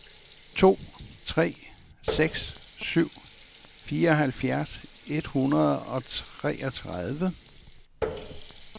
to tre seks syv fireoghalvfjerds et hundrede og treogtredive